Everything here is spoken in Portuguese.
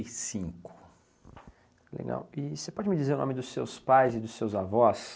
E cinco. Legal. E você pode me dizer o nome dos seus pais e dos seus avós?